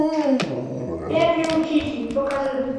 первый учитель покажи